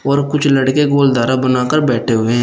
और कुछ लड़के गोलधारा बनाकर बैठे हुए हैं।